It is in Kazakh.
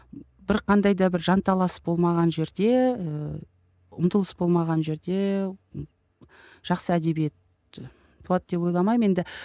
бір қандай да бір жанталас болмаған жерде і ұмтылыс болмаған жерде жақсы әдебиет і туады деп ойламаймын енді